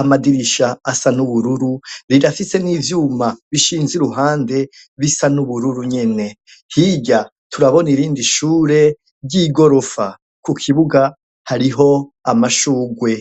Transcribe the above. amadirisha asa n'ubururu rirafise n'ivyuma bishinze iruhande bisa n'ubururu nyene hirya turabona irindi shure ry'igorofa, ku kibuga hariho amashugwe.